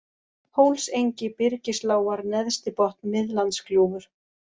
Hólsengi, Byrgislágar, Neðstibotn, Miðlandsgljúfur